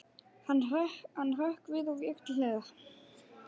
Hann hrökk við og vék til hliðar.